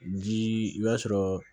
Ji i b'a sɔrɔ